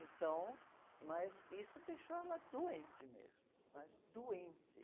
Então, mas isso deixou ela doente mesmo, mas doente.